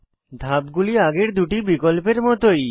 ধাপগুলি আগের দুটি বিকল্পের মতই